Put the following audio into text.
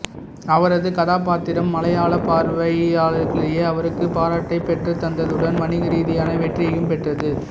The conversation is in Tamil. அவரது கதாபாத்திரம் மலையாளப் பார்வையாளர்களிடையே அவருக்கு பாராட்டைப் பெற்றுத்தந்ததுடன் வணிகரீதியான வெற்றியையும் பெற்றது